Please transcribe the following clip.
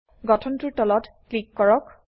গঠনটোৰ তলত ক্লিক কৰক